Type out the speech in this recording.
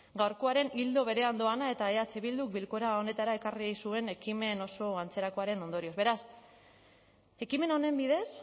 gaurkoaren ildo berean doana eta eh bilduk bilkura honetara ekarri zuen ekimen oso antzerakoaren ondorioz beraz ekimen honen bidez